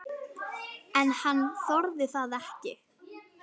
En hann þorði það ekki.